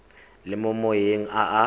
le mo maemong a a